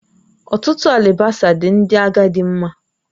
Ọtụtụ alibasa dị Ndị agadi mkpa